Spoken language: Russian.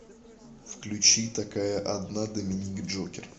включи такая одна доминик джокер